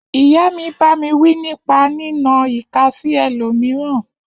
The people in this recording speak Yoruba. Iya mi bàmí wi nípà ni nà ìká sí ẹlómíràn